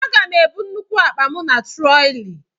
Aga m ebu nnukwu akpa m na troli